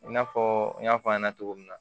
I n'a fɔ n y'a fɔ a ɲɛna cogo min na